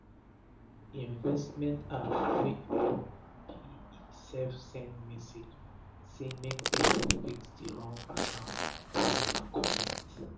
d investment app wey dey work be e sef send message um sey make pipu fix d wrong account wey dem um connect.